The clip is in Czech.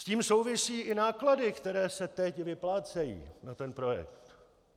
S tím souvisí i náklady, které se teď vyplácejí na ten projekt.